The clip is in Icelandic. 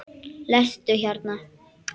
Sestu hérna.